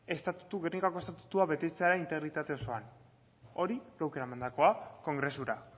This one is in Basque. gernikako estatutua betetzea integritate osoan hori geuk eramandako kongresura